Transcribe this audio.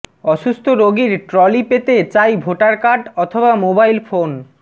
অসুস্থ রোগীর ট্রলি পেতে চাই ভোটার কার্ড অথবা মোবাইল ফোন